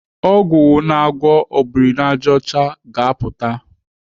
Ọgwụ na-agwọ obirinajọcha ka ga-apụta.